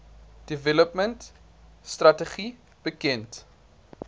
development strategy bekend